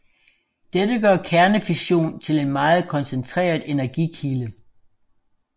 Dette gør kernefission til en meget koncentreret energikilde